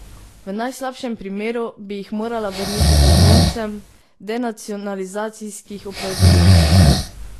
V najslabšem primeru bi jih morala vrniti potomcem denacionalizacijskih upravičencev.